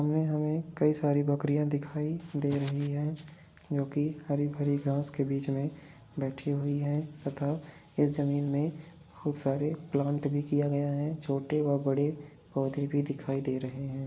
इनमें हमें कई सारी बकरियां दिखाई दे रही हैं जो के हरी भरी घांस के बीच में बैठी हुई हैं तथा इस ज़मीन में बहुत सारे प्लांट भी किया गया है छोटे व बड़े पौधे भी दिखाई दे रहे हैं।